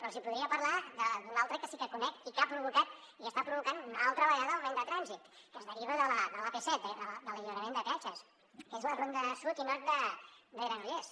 els hi podria parlar d’una altra que sí que conec i que ha provocat i que està provocant una altra vegada augment de trànsit que es deriva de l’ap set de l’alliberament de peatges que és la ronda sud i nord de granollers